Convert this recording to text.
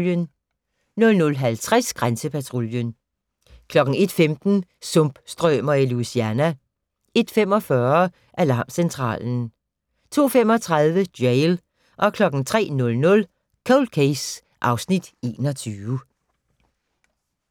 00:50: Grænsepatruljen 01:15: Sumpstrømer i Louisiana 01:45: Alarmcentralen 02:35: Jail 03:00: Cold Case (Afs. 21)